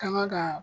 Kanga ka